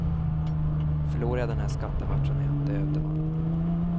Förlorar jag den här skattematchen är jag en död man.